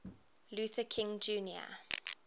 luther king jr